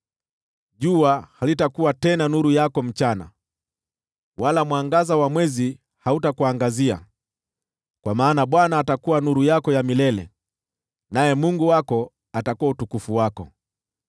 Jua halitakuwa tena nuru yako mchana, wala mwangaza wa mwezi hautakuangazia, kwa maana Bwana atakuwa nuru yako ya milele, naye Mungu wako atakuwa utukufu wako.